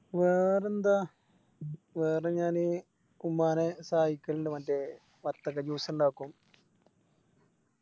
വേറെന്താ വേറെ ഞാന് ഉമ്മാനെ സഹായിക്കലിണ്ട് മറ്റേ വത്തക്ക Juice ഇണ്ടാക്കും